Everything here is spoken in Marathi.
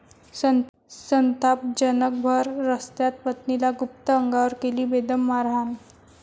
संतापजनक! भर रस्त्यात पत्नीला गुप्त अंगावर केली बेदम मारहाण